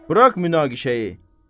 Bırax münaqişəyi.